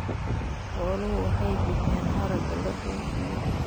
Xooluhu waxay bixiyaan haragga la dhoofiyo.